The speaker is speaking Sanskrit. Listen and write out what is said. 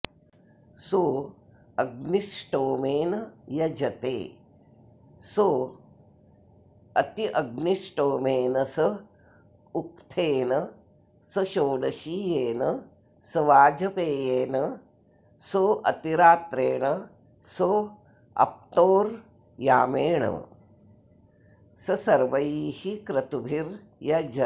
सोऽग्निष्टोमेन यजते सोऽत्यग्निष्टोमेन स उक्थ्येन स षोडशीयेन स वाजपेयेन सोऽतिरात्रेण सोऽप्तोर्यामेण स सर्वैः क्रतुभिर्यजते